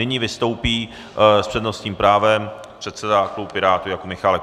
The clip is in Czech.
Nyní vystoupí s přednostním právem předseda klubu Pirátů Jakub Michálek.